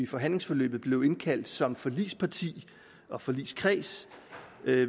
forhandlingsforløbet blev indkaldt som forligsparti og forligskreds